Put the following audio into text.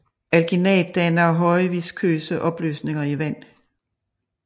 Alginat danner højviskøse opløsninger i vand